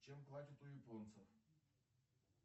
чем платят у японцев